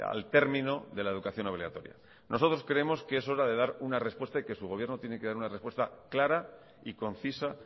al término de la educación obligatoria nosotros creemos que es hora dar una respuesta y que su gobierno tiene que dar una respuesta clara y concisa